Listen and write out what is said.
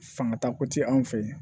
Fangatako tɛ anw fɛ yan